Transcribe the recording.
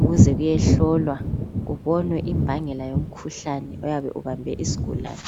ukuze kuyehlolwa kubonwe imbangela yomkhuhlane oyabe ubambe isigulane.